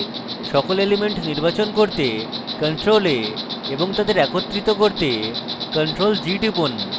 সকল elements নির্বাচন করতে ctrl + a এবং তাদের একত্রিত করতে ctrl + g টিপুন